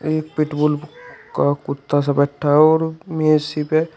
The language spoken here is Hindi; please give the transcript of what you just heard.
एक पेट बुल का कुत्ता सा बैठा है और मेज इसी पे--